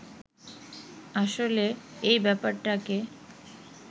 আসলে এ ব্যাপারটাকে